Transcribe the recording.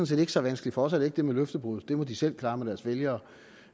set ikke så vanskeligt for os er det ikke det med løftebruddet afgørende det må de selv klare med deres vælgere